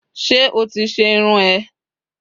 se oti se irun eee?